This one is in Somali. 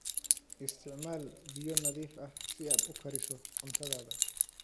Isticmaal biyo nadiif ah si aad u kariso cuntadaada.